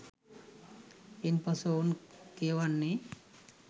ඉන් පසු ඔවුන් කියවන්නේ